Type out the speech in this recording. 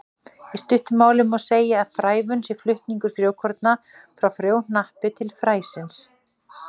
Í stuttu máli má segja að frævun sé flutningur frjókorna frá frjóhnappi til frænis.